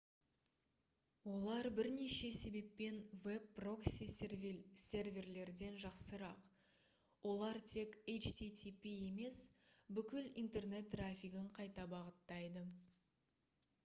олар бірнеше себеппен веб прокси-серверлерден жақсырақ олар тек http емес бүкіл интернет трафигін қайта бағыттайды